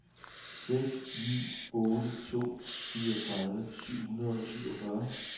seks ni otte to fireogtredive syv hundrede og syvogfyrre